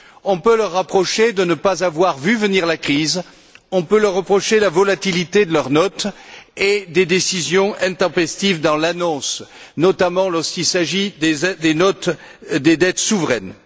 On peut leur reprocher de ne pas avoir vu venir la crise, on peut leur reprocher la volatilité de leurs notes et des décisions intempestives dans l'annonce, notamment lorsqu'il s'agit des notes des dettes souveraines.